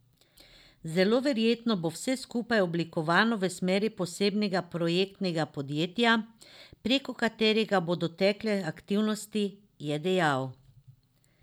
Zelo verjetno bo vse skupaj oblikovano v smeri posebnega projektnega podjetja, preko katerega bodo tekle aktivnosti, je dejal.